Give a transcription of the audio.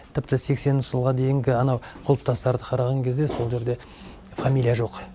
тіпті сексенінші жылға дейінгі анау құлпытастарды қараған кезде сол жерде фамилия жоқ